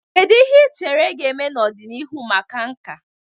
Kedu ihe ị chere ga-eme n'ọdịnihu maka nka?